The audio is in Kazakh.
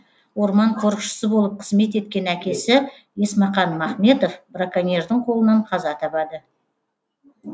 орман қорықшысы болып қызмет еткен әкесі есмақан махметов браконьердің қолынан қаза табады